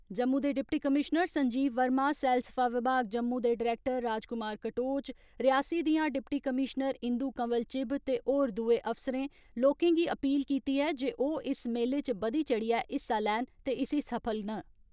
जम्मू दे deputy commissioner Sanjeev Verma, सैलसफा विभाग जम्मू दे डायरेक्टर राजकुमार कटोच, रियासी दियां डिप्टी कमीश्नर इंदू कंवल चिब ते होर दुए अफसरें, लोकें गी अपील कीती ऐ जे ओह् इस मेले च बधी चढ़ियै हिस्सा लैन ते इसी सफल न।